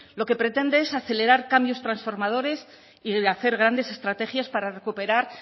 lo que pretende es acelerar cambios transformadores y hacer grandes estrategias para recuperar